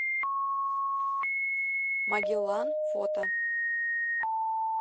магеллан фото